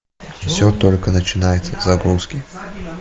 все только начинается в загрузки